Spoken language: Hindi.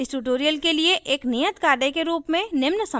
इस tutorial के लिए एक नियत कार्य के रूप में निम्न समस्या को हल करें